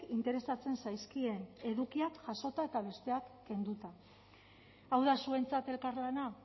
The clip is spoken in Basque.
interesatzen zaizkien edukia jasota eta besteak kenduta hau da zuentzat elkarlana